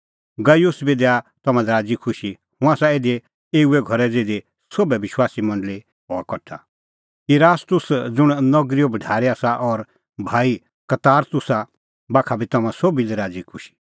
गयुस बी दैआ तम्हां लै राज़ीखुशी हुंह आसा इधी एऊए घरै ज़िधी सोभै विश्वासी मंडल़ी हआ कठा इरास्तुस ज़ुंण नगरीओ भढारी आसा और भाई कबारतुसा बाखा बी तम्हां सोभी लै राज़ीखुशी